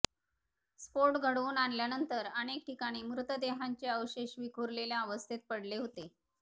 स्फोट घडवून आणल्यानंतर अनेक ठिकाणी मृतदेहांचे अवशेष विखुरलेल्या अवस्थेत पडले होते